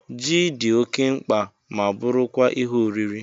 Jị dị oké mkpa ma bụrụ kwa Ihe oriri